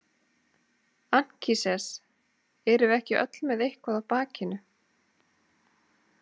Ankíses Erum við ekki öll með eitthvað á bakinu?